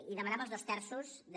i demanava els dos terços de